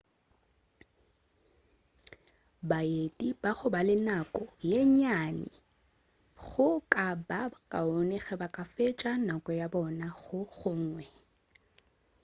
baeti ba go ba le nako ye nnyane go ka ba kaone ge ba ka fetša nako ya bona go gongwe